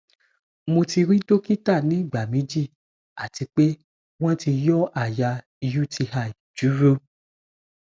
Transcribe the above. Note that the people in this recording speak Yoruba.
mo ti rí dókítà ní ìgbà méjì àti pé wọ́n ti yọ́ àyà uti júró